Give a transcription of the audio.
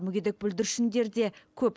мүгедек бүлдіршіндер де көп